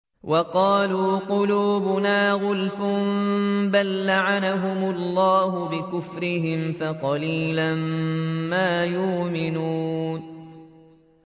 وَقَالُوا قُلُوبُنَا غُلْفٌ ۚ بَل لَّعَنَهُمُ اللَّهُ بِكُفْرِهِمْ فَقَلِيلًا مَّا يُؤْمِنُونَ